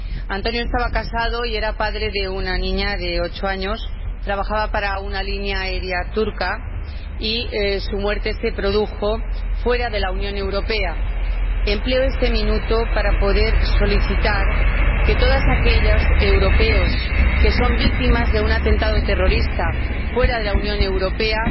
Antonio estaba casado y era padre de una niña de ocho años, trabajaba para una línea aérea turca y su muerte se produjo fuera de la Unión Europea. Empleo este minuto para señalar que todos aquellos europeos que son víctimas de un atentado terrorista fuera de la Unión Europea